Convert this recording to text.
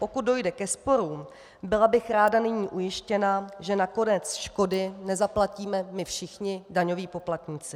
Pokud dojde ke sporům, byla bych ráda nyní ujištěna, že nakonec škody nezaplatíme my všichni - daňoví poplatníci.